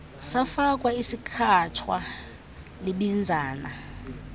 safakwa esikhatshwa libinzana